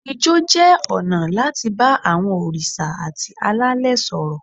Ijó jẹ́ ọ̀nà láti bá àwọn òrìṣà àti alẹ́lẹ̀ sọ̀rọ̀.